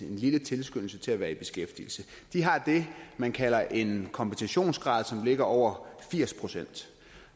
lille tilskyndelse til at være i beskæftigelse de har det man kalder en kompensationsgrad som ligger over firs procent